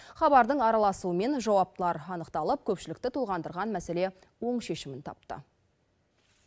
хабардың араласуымен жауаптылар анықталып көпшілікті толғандырған мәселе оң шешімін тапты